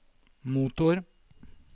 motor